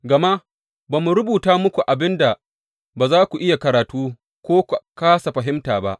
Gama ba mu rubuta muku abin da ba za ku iya karatu ko ku kāsa fahimta ba.